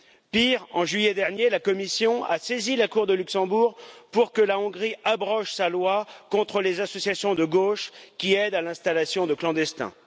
Pire, en juillet dernier, la Commission a saisi la Cour de Luxembourg pour que la Hongrie abroge sa loi contre les associations de gauche qui aident à l'installation des clandestins.